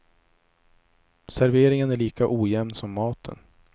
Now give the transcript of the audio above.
Serveringen är lika ojämn som maten.